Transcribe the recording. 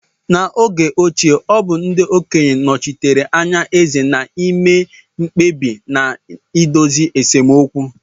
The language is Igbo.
N'oge ochie, ọ bụ ndị okenye nochitere anya eze na-ime mkpebi na na-idozi esemokwu.